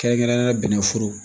Kɛrɛnkɛrɛnnenya bɛnɛforo